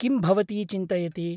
किं भवती चिन्तयति?